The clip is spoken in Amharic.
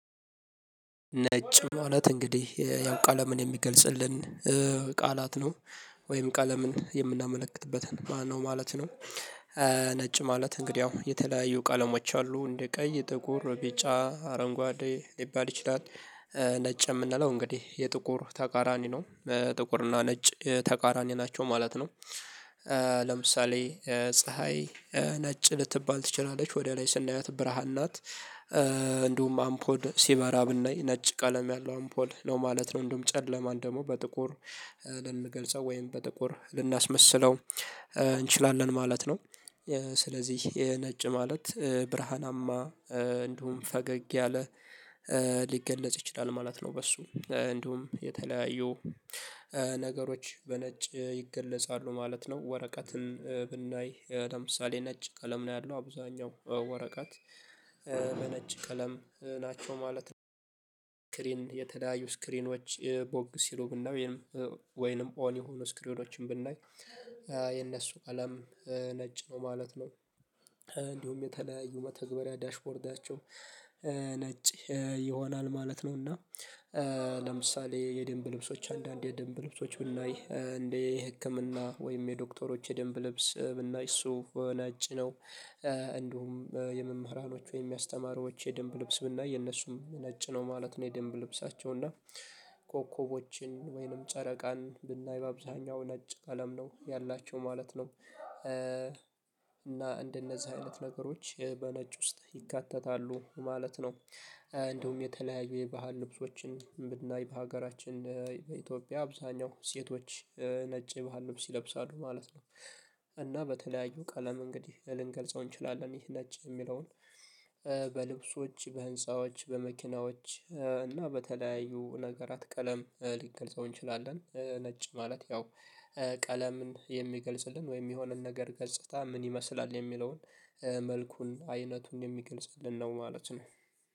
ነጭ ማለት እንግዲህ ያው ቀለምን የሚገልጽልን ቃላት ነው ወይም ቀለምን የምናመለክትበትን ማነው ማለት ነው። ነጭ ማለት እንግዲህ ያው የተለያዩ ቀለሞች አሉ እንደ ቀይ ጥቁር ቢጫ አረንጓዴ ሊባል ይችላል። ነጭ የምንለው እንግዲህ የጥቁር ተቃራኒ ነው። ጥቁር እና ነጭ ተቃራኒ ናቸው ማለት ነው። ለምሳሌ ፀሀይ ነጭ ልትባል ትችላለች ወደ ላይ ስናያት ብርሃን ናት። እንዲሁም አምፖድ ሲበራ ብናይ ነጭ ቀለም ያለው አምፖል ነው ማለት ነው። እንደውም ጨለማን ደግሞ በጥቁር ልንገልጸው ወይም በጥቁር ልናስመስለው እንችላለን ማለት ነው። ስለዚህ የነጭ ማለት ብርሃናማ እንደውም ፈገግ ያለ ሊገለጽ ይችላል ማለት ነው። በሱ እንደውም የተለያዩ ነገሮች በነጭ ይገለጻሉ ማለት ነው። ወረቀትን ብናይ ለምሳሌ ነጭ ቀለም ነው ያለው አብዛኛው ወረቀት በነጭ ቀለም ናቸው ማለት ነው። የተለያዩ ስክሪኖች ቦግ ሲሉ ብናውይ ወይንም ኦን የሆኑ ስክሪኖችን ብናይ የነሱ ቀለም ነጭ ነው ማለት ነው። እንዲሁም የተለያዩ መተግበሪያ ዳሽቦርዳቸው ነጭ ይሆናል ማለት ነው። እና ለምሳሌ የደንብ ልብሶች አንዳንዴ የደንብ ልብሶች ብናይ እንደ የህክምና ወይም የዶክተሮች የድንብ ልብስ ብናይ እሱ ነጭ ነው እንደውም የመምህራኖች ወይም የሚያስተማሩ የደንብ ልብስ ብናይ የነሱም ነጭ ነው ማለት ነው። የደንብ ልብሳቸው እና ኮከቦችን ወይንም ጨረቃን ብናይ በአብዛኛው ነጭ ቀለም ነው ያላቸው ማለት ነው። እና እንደነዚህ አይነት ነገሮች በነጭ ውስጥ ይካተታሉ ማለት ነው። እንደውም የተለያዩ የባህል ልብሶችን ብናይ በሀገራችን በኢትዮጵያ አብዛኛው ሴቶች ነጭ ባህል ነው ሲለብሳሉ ማለት ነው። እና በተለያዩ ቀለም እንግዲህ ልንገልጸው እንችላለን ይሄ ነች የሚለውን በልብሶች በህንፃዎች በመኪናዎች እና በተለያዩ ነገራት ቀለም ሊገልጸው እንችላለን ነጭ ማለት ያው። ቀለምን የሚገልጽልን ወይም የሆነን ነገር ገጽታ ምን ይመስላል የሚለውን መልኩን አይነቱን የሚገልጽልን ነው ማለት ነው።